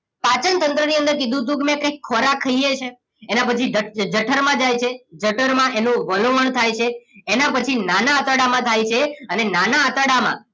પાચનતંત્રની અંદર કીધું હતું કે મેં કંઈક ખોરાક ખાઈએ છીએ એના પછી જઠરમાં જાય છે જઠરમાં એનું વલોવણ થાય છે એના પછી નાના આંતરડામાં જાય છે અને નાના આંતરડામાં